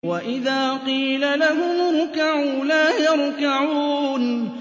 وَإِذَا قِيلَ لَهُمُ ارْكَعُوا لَا يَرْكَعُونَ